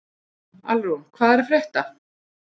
Alrún, hvað er að frétta?